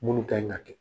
Munnu kan ka kɛ